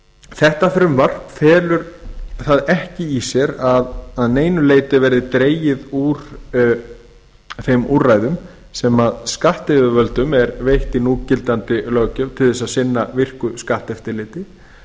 þetta frumvarp felur það ekki í sér að neinu leyti að dregið verði úr þeim úrræðum sem skattyfirvöldum eru veitt í núgildandi löggjöf til að sinna virku skatteftirliti